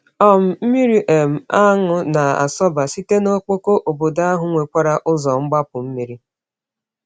um Mmiri um aṅụ na-asọba site n’ọkpọkọ, obodo ahụ nwekwara ụzọ mgbapu mmiri.